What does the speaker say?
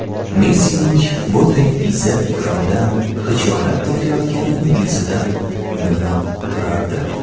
Messining bunday izzat-ikromdan xijolat tortayotgani yuzidan bilinib turardi.